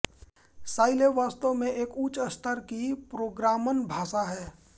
Scilab वास्तव में एक उच्चस्तर की प्रोग्रामन भाषा है